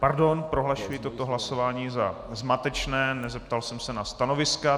Pardon, prohlašuji toto hlasování za zmatečné, nezeptal jsem se na stanoviska.